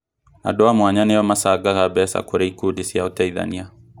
Andũ a mwanya nĩo macangaga mbeca kũrĩ ikundi cia uteithania